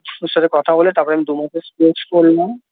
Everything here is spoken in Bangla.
ওর সাথে কথা বলে তারপরে আমি দুমাসের Course করলাম।